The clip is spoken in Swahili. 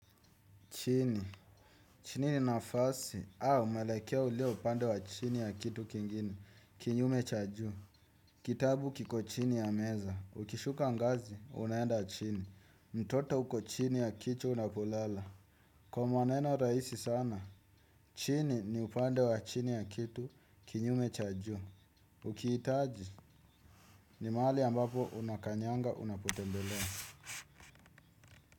Chini, chini ni nafasi, au mwelekeo uleo upande wa chini ya kitu kingine, kinyume cha juu. Kitabu kiko chini ya meza, ukishuka ngazi, unaenda chini, mtoto uko chini ya kitu unapolala. Kwa maneno rahisi sana, chini ni upande wa chini ya kitu, kinyume cha juu. Ukihitaji, ni mahali ambapo unakanyanga unapotembelea.